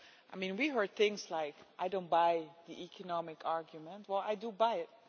We have heard things like I don't buy the economic argument' or I do buy it'.